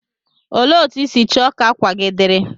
Olee otú ịsi choo ka akwa gi diri?